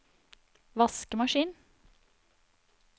vaskemaskin